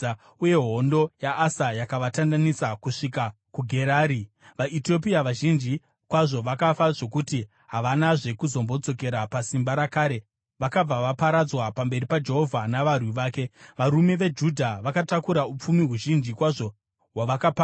uye hondo yaAsa yakavatandanisa kusvika kuGerari. VaEtiopia vazhinji kwazvo vakafa zvokuti havanazve kuzombodzokera pasimba rakare; vakabva vaparadzwa pamberi paJehovha navarwi vake. Varume veJudha vakatakura upfumi huzhinji kwazvo hwavakapamba.